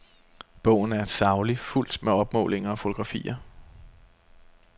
Bogen er saglig, fuldt med opmålinger og fotografier.